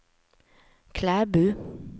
Klæbu